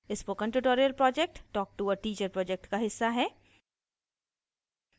spoken tutorial project talk to a teacher project का हिस्सा है